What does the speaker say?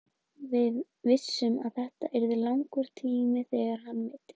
Við vissum að þetta yrði langur tími þegar hann meiddist.